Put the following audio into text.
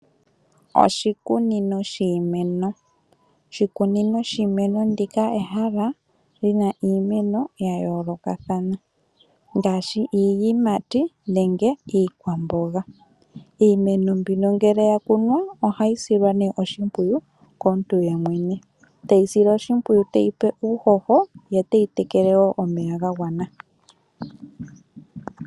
Oshikunino shiimeno Oshikunino shiimeno ndika ehala lyina iimeno ya yoolokathana ngaashi iiyimati nenge iikwamboga. Iimeno mbino ngele ya kunwa ohayi silwa oshimpwiyu komuntu yemwene, teyi sile oshimpwiyu, teyi pe uuhoho, ye teyi tekele wo omeya ga gwana.